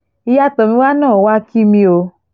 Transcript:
ìyá tomiwa náà wàá kí mi o